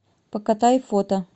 покатай фото